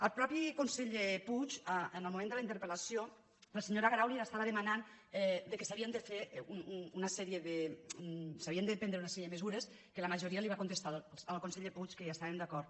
al mateix conseller puig en el moment de la interpel·lació la senyora grau li estava demanant que s’ha·vien de prendre una sèrie de mesures que la majoria li va contestar al conseller puig que hi estaven d’acord